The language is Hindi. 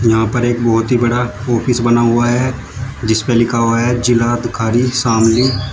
यहां पे एक बहोत ही बड़ा ऑफिस बना हुआ है जिस पे लिखा हुआ है जिलाधिकारी शामली।